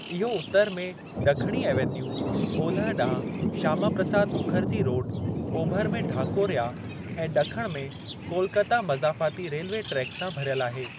इहो उतरु में ॾखणी ईवैन्यू, ओलह ॾांहुं श्यामाप्रसाद मुखर्जी रोडु, ओभर में ढाकोरया, ऐं ॾखणु में कोलकता मज़ाफ़ाती रेल्वे ट्रेक सां भरियल आहे।